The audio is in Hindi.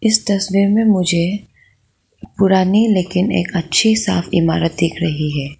इस तस्वीर में मुझे पुरानी लेकिन एक अच्छी साफ इमारत दिख रही है।